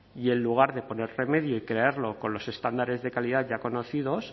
y en lugar de poner remedio y crearlo con los estándares de calidad ya conocidos